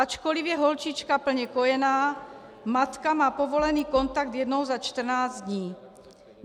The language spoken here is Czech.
Ačkoli je holčička plně kojená, matka má povolený kontakt jednou za 14 dní.